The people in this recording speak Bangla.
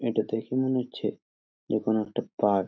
এটা দেখে মনে হচ্ছে যে কোনো একটা পার্ক ।